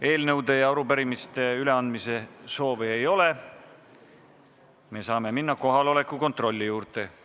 Eelnõude ja arupärimiste üleandmise soovi ei ole, seega saame minna kohaloleku kontrolli juurde.